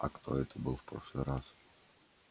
а кто это был в прошлый раз